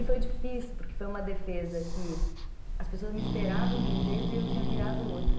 E foi difícil, porque foi uma defesa que as pessoas me esperavam de um jeito e eu tinha virado outra.